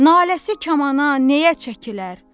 Naləsi kamana nəyə çəkilər?